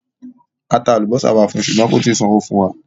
A tà alúbọ̀sà wà fún u, ṣúgbọ̀n kò tìí sànwò̩ fún wa.